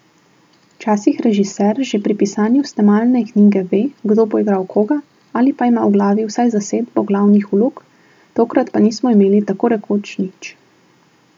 Včasih režiser že pri pisanju snemalne knjige ve, kdo bo igral koga, ali pa ima v glavi vsaj zasedbo glavnih vlog, tokrat pa nismo imeli tako rekoč nič.